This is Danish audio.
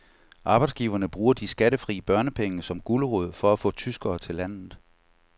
Arbejdsgiverne bruger de skattefri børnepenge som gulerod for at få tyskere til landet.